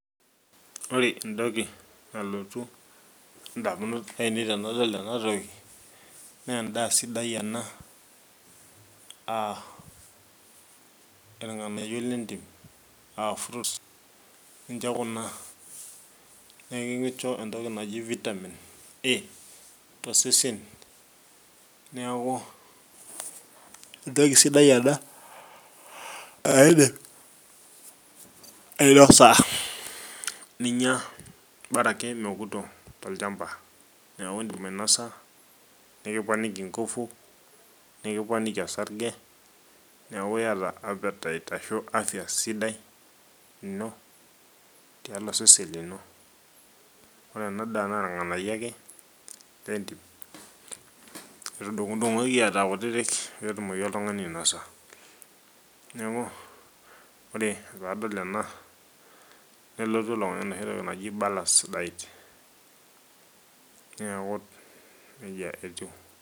ore entoki nalotu damunot ainei tenadol ena toki, naa edaa sidai ena. irnganyio lentim aa fruits ninche kuna, neeku ekincho entoki naji vitamin A tosesen neeku entoki sidai ena, naa idim ainosa, bora akeyie mekuto tolchampa. neeku idim ainosa nikiponiki osarge, nikiponiki ngufu, nikiponiki osarge, neeku iyata appetite ashu vafya sidai ino, tialo osesen lino. ore ena daa naa irnganyio ake, lentim. etungukoi era kutitik pee etumoki oltungani ainosa. neku ore pee adol ena nelotu enoshi toki naji balance diet neeku nejia etiu.